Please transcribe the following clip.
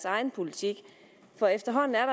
egen politik for efterhånden er